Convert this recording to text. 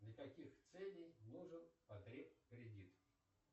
для каких целей нужен потребкредит